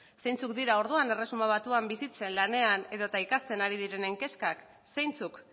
zeintzuk dira orduan erresuma batuan bizitzen lanean edota ikasten ari direnen kezkak zeintzuk